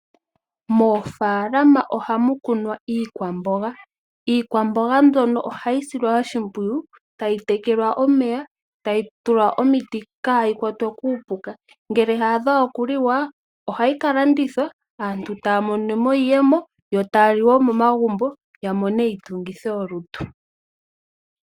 Moofalama ohamu kunwa iikwamboga. Iikwamboga mbyono ohayi silwa oshimpwiyu tayi tekelwa omeya, tayi tulwa omiti kayi kwatwe kuuka. Ngele ya adha okuliwa ohayi ka landithwa aantu taya mono mo iiyemo yo taya li momagumbo yamone iitungitho lutu.